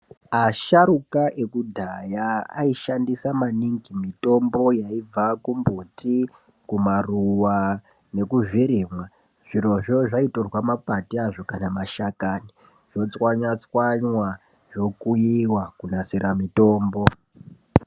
Asahruka ekudhaya aishandisa maningi mitombo yaibva kumbuti, kumaruva nekuzvirimwa. Zvirozvo zvaitorwa mapande azvo kana mashakani zvotswnywa-tswanywa zvokuyiwa kunasira mitombo.